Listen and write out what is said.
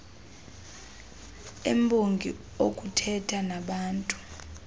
embongi okuthetha nabaantu